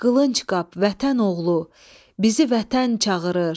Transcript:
Qılıncqap vətən oğlu, bizi vətən çağırır.